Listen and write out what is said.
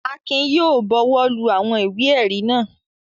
Akin yóò bọwọ́lu àwọn ìwé-ẹ̀rí náà.